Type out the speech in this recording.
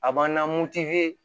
A b'an na